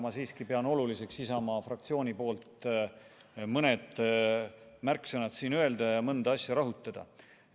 Ma siiski pean oluliseks Isamaa fraktsiooni nimel mõned märksõnad öelda ja mõnda asja rõhutada.